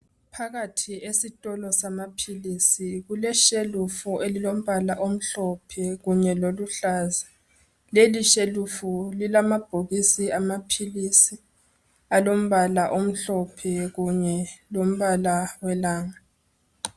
Phakathi esitolo samaphilisi kuleshelf elombala omhlophe kunye loluhlaza leli shelf lilamabhokisi amaphilisi alombala omhlophe kunye lalombala welanga